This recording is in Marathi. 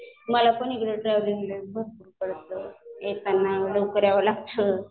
मला भरपूर येताना लवकर यावं लागतं.